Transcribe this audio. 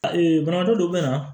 Ee banabaatɔ dɔw be na